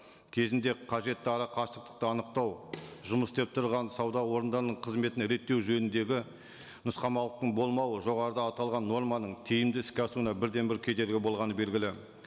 кезінде қажетті ара қашықтықты анықтау жұмыс істеп тұрған сауда орындарының қызметін реттеу жөніндегі нұсқамалықтың болмауы жоғарыда аталған норманың тиімді іске асуына бірден бір кедергі болғаны белгілі